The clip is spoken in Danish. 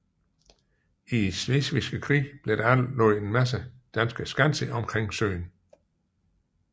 Slesvigske krig blev der anlagt en række danske skanser omkring søen